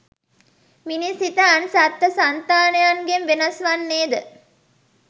මිනිස් සිත අන් සත්ව සන්තානයන්ගෙන් වෙනස් වන්නේ ද